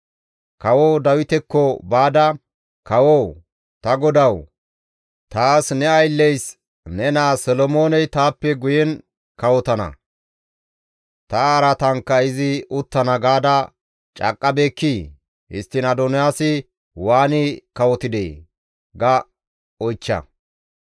Kawo Dawitekko baada, ‹Kawoo, ta godawu! Taas ne aylleys ne naa Solomooney taappe guyen kawotana; ta araatankka izi uttana gaada caaqqabeekkii? Histtiin Adoniyaasi waani kawotidee?› ga oychcha.